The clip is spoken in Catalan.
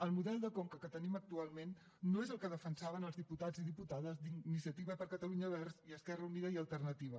el model de conca que tenim actualment no és el que defensaven els diputats i diputades d’iniciativa per catalunya verds i esquerra unida i alternativa